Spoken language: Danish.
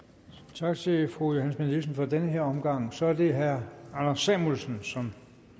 tak til fru johanne schmidt nielsen for den her omgang så er det herre anders samuelsen som